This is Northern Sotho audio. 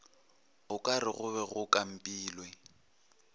okare go be go kampilwe